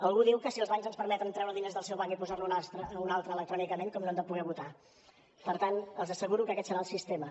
algú diu que si els bancs ens permeten treure diners del seu banc i posar lo en un altre electrònicament com no hem de poder votar per tant els asseguro que aquest serà el sistema